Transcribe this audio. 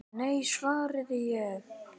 Nei, svaraði ég.